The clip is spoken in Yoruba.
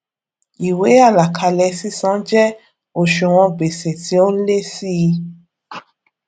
ìwé àlàkalè sísan jẹ òṣùwòn gbèsè tí ó n lé sí í